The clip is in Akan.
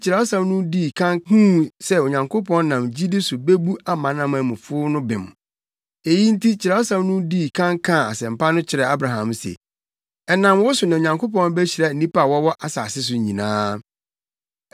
Kyerɛwsɛm no dii kan huu sɛ Onyankopɔn nam gyidi so bebu amanamanmufo no bem. Eyi nti Kyerɛwsɛm no dii kan kaa Asɛmpa no kyerɛɛ Abraham se, “Ɛnam wo so na Onyankopɔn behyira nnipa a wɔwɔ asase so nyinaa.”